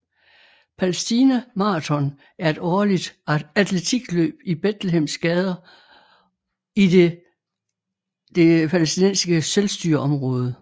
Palæstina Maraton er et årligt atletikløb i Betlehems gader i de Det palæstinensiske selvstyreområde